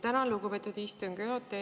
Tänan, lugupeetud istungi juhataja!